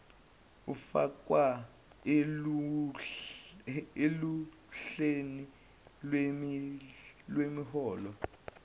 ufakwe oluhleni lwemiholo